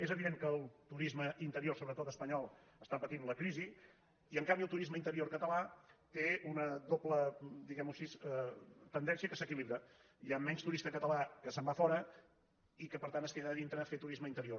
és evident que el turisme interior sobretot espanyol està patint la crisi i en canvi el turisme interior cata·là té una doble diguem·ho així tendència que s’equi·libra hi ha menys turista català que se’n va a fora i que per tant es queda a dintre a fer turisme interior